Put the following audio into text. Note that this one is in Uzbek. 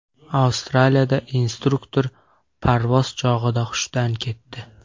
Avstraliyada instruktor parvoz chog‘ida hushdan ketdi.